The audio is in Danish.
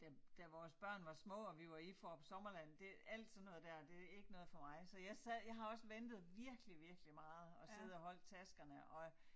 Da da vores børn var små og vi var i Fårup Sommerland det alt sådan noget dér det ikke noget for mig så jeg sad jeg har også ventet virkelig virkelig meget og siddet og holdt taskerne og